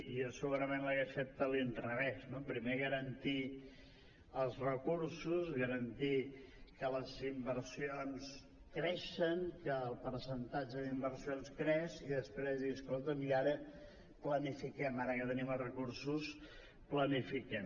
jo segurament l’hagués fet de l’inrevés no primer garantir els recursos garantir que les inversions creixen que el percentatge d’inversions creix i després dir escolta’m i ara planifiquem ara que tenim els recursos planifiquem